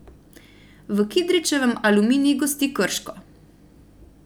V Kidričevem Aluminij gosti Krško.